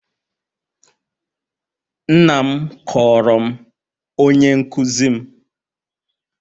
Nna m kọọrọ m onye nkụzi m.